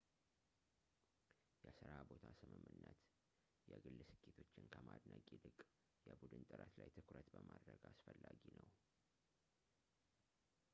የስራ ቦታ ስምምነት የግል ስኬቶችን ከማድነቅ ይልቅ የቡድን ጥረት ላይ ትኩረት በማድረግ አስፈላጊ ነው